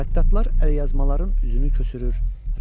Xəttatlar əlyazmaların üzünü köçürür,